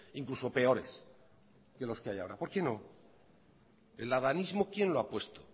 incluso peores que los que hay ahora por qué no el adanismo quién lo ha puesto